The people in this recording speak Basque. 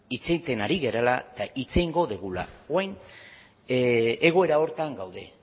hitz egiten ari garela eta hitz egingo dugula orain egoera horretan gaude